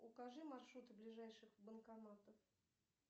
укажи маршруты ближайших банкоматов